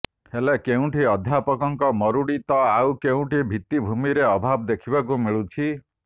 ହେଲେ କେଉଁଠି ଅଧ୍ୟାପକଙ୍କ ମରୁଡ଼ି ତ ଆଉ କେଉଁଠି ଭିତ୍ତିଭୂମିର ଅଭାବ ଦେଖିବାକୁ ମିଳୁଛି